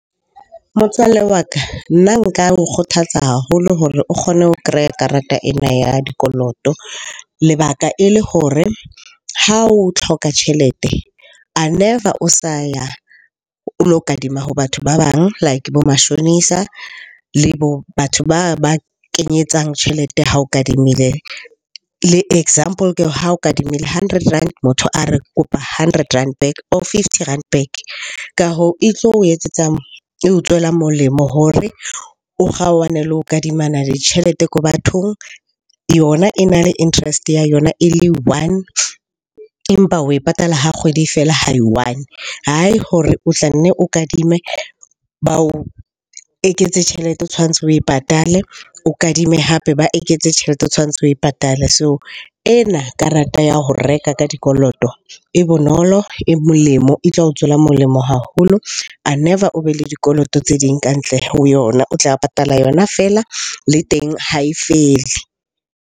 Motswalle wa ka, nna nka o kgothatsa haholo hore o kgone ho kreya karata ena ya dikoloto. Lebaka e le hore ha o hloka tjhelete, a never o sa ya o lo kadima ho batho ba bang. Like bo mashonisa, le bo batho ba kenyetsang tjhelete ha o kadimile. Le example ke ha o kadimile hundred rand, motho a re kopa hundred rand back or fifty rand back. Ka hoo e tlo o etsetsa, eo tswelang molemo hore o kgaohane le ho kadimana ditjhelete ko bathong. Yona e na le interest ya yona e le one, empa oe patala ha kgwedi e fela ha e i-one. Hore o tla nne o kadime, ba o eketse tjhelete o tshwantse oe patale. O kadime hape ba eketse tjhelete o tshwantse oe patale. So ena karata ya ho reka ka dikoloto e bonolo, e molemo, e tla o tswela molemo haholo. A never o be le dikoloto tse ding ka ntle ho yona. O tla patala yona feela, le teng ha e fele.